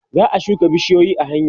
za'a shuka bishiyoyi a hanya